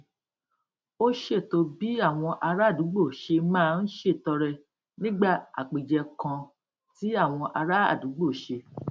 ó ṣètò bí àwọn ará àdúgbò ṣe máa ń ṣètọrẹ nígbà àpèjẹ kan tí àwọn ará àdúgbò ṣe